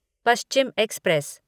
Paschim express